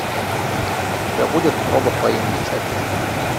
у тебя будет робот по имени чаппи